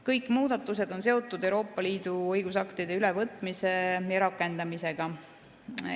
Kõik muudatused on seotud Euroopa Liidu õigusaktide ülevõtmise ja rakendamisega.